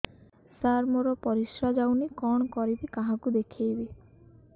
ସାର ମୋର ପରିସ୍ରା ଯାଉନି କଣ କରିବି କାହାକୁ ଦେଖେଇବି